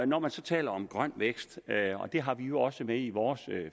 når man så taler om grøn vækst og det har vi jo også med i vores